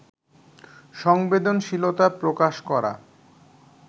সংবেদনশীলতা প্রকাশ করা